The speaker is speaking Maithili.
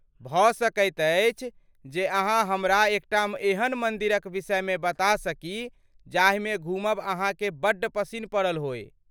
भऽ सकैत अछि जे अहाँ हमरा एकटा एहन मंदिरक विषयमे बता सकी जाहिमे घुमब अहाँकेँ बड्ड पसिन्न पड़ल होअय।